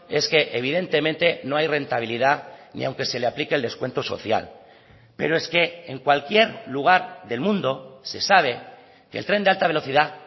es que evidentemente no hay rentabilidad ni aunque se le aplique el descuento social pero es que en cualquier lugar del mundo se sabe que el tren de alta velocidad